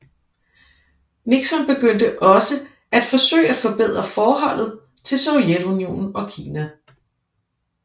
Nixon begyndte også at forsøge at forbedre forholdet til Sovjetunionen og Kina